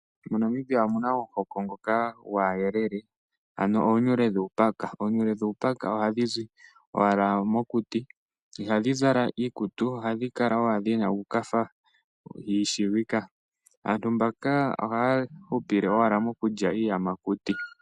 MoNamibia omuna omuhoko ngoka gwayelele ano oonyyle dhuupaka ,oonyule dhuupaka ohadhi zi owala mokuti ihadhi zala iikutu kala owala dhina uukatha dhiidila aantu mbaka ohaa hupile owala mokulya iiyamakuti.